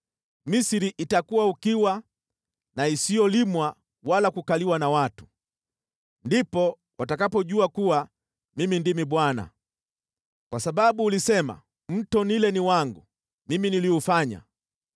Misri itakuwa ukiwa na isiyolimwa wala kukaliwa na watu. Ndipo watakapojua kuwa Mimi ndimi Bwana .“ ‘Kwa sababu ulisema, “Mto Naili ni wangu; mimi niliufanya,”